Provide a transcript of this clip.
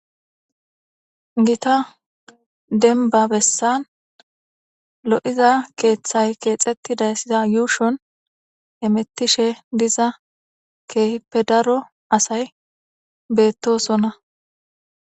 gita denba bessan lo7iza keeththay keexetti dayssida yuushon emettishe diza keehippe daro asay beettosonna